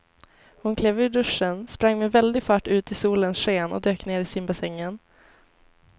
Hon klev ur duschen, sprang med väldig fart ut i solens sken och dök ner i simbassängen.